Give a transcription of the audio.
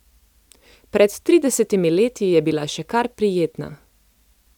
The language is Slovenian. Pred tridesetimi leti je bila še kar prijetna.